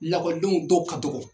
Lakɔlidenw dɔw ka dogo!